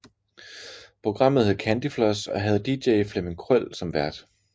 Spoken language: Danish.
Programmet hed Candyfloss og havde DJ Flemming Krøll som vært